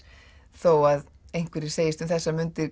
þó að einhverjir segist um þessar mundir